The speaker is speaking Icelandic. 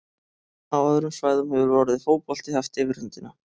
Á öðrum svæðum hefur orðið fótbolti haft yfirhöndina.